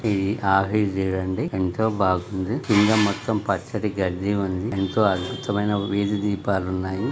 ఈ ఆఫీస్ చూడండి ఎంతో బాగుంది. కింద మొత్తం పచ్చడి గడ్డి ఉంది. ఎంతో అభృతమైన వీధి దీపాలు ఉన్నాయి .